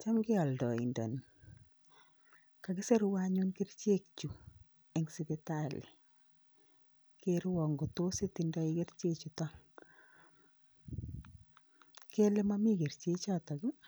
Chamgei aldaindeni ,kakisirwa anyun kerichek chu eng sipitali, kerwon kot tos itinye kerichek chuton, kele Mami kerichek chuton ii,